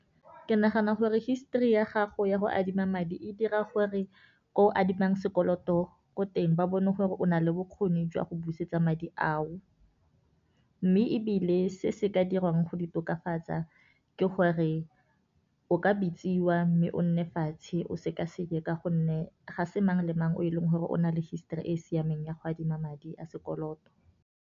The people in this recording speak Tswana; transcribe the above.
Ke nagana gore histori ya gago ya go adima madi e dira gore ko adimang sekoloto ko teng, ba bone gore o nale bokgoni jwa go busetsa madi ao. Mme ebile se se ka dirwang go di tokafatsa ke gore o ka bitsiwa mme o nne fatshe, o sekaseke ka gonne ga se mang le mang o e leng gore, o na le histori e e siameng ya go adima madi a sekoloto.